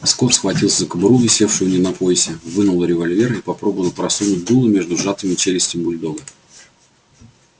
скотт схватился за кобуру висевшую у него на поясе вынул револьвер и попробовал просунуть дуло между сжатыми челюстями бульдога